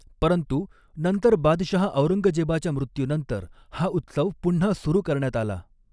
परंतु, नंतर बादशहा औरंगजेबाच्या मृत्यूनंतर हा उत्सव पुन्हा सुरू करण्यात आला.